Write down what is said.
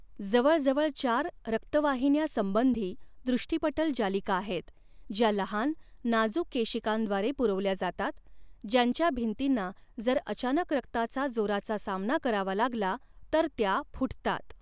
जवळजवळ चार रक्तवाहिन्यासंबंधी दृष्टिपटल जालिका आहेत ज्या लहान, नाजूक केशिकांद्वारे पुरवल्या जातात, ज्यांच्या भिंतीना जर अचानक रक्ताचा जोराचा सामना करावा लागला तर त्या फुटतात.